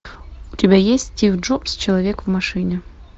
у тебя есть стив джобс человек в машине